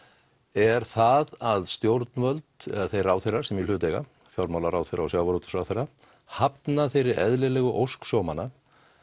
er það að stjórnvöld eða þeir ráðherrar sem í hlut eiga fjármálaráðherra og sjávarútvegsráðherra hafna þeirri eðlilegu ósk sjómanna